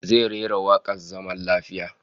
Zai rera wakar zaman lafiya